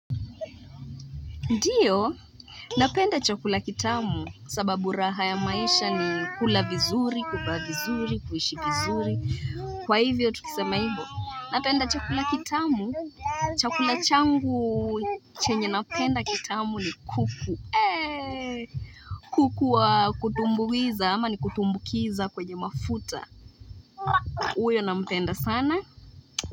Ndiyo, napenda chakula kitamu sababu raha ya maisha ni kula vizuri, kuvaa vizuri, kuishi vizuri, kwa hivyo tukisema hivyo. Napenda chakula kitamu, chakula changu chenye napenda kitamu ni kuku. Kuku wa kutumbuiza ama ni kutumbukiza kwenye mafuta. Huyo nampenda sana?